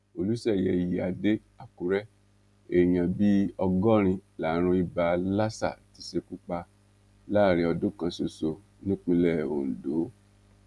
olùṣeyẹ ìyíáde àkùrẹ èèyàn bíi ọgọrin lárùn ibà lásà ti ṣekú pa láàrin ọdún kan ṣoṣo nípínlẹ ondo